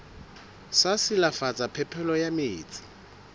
sa silafatsa phepelo ya metsi